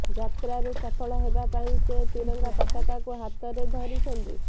ଯାତ୍ରାରେ ସଫଳ ହେବା ପାଇଁ ସେ ତ୍ରିରଙ୍ଗା ପତାକାକୁ ହାତରେ ଧରିଛନ୍ତି